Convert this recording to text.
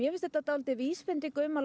finnst þetta vísbending um að